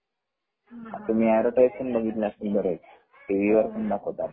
तुम्ही अँडव्हरटाइज बघितली असेल बर्याच वेळेस टी.व्ही. पण दाखवतात